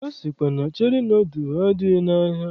A sịkwa na Cheri nọdụl adịghị n'ahịa.